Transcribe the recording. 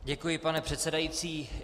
Děkuji, pane předsedající.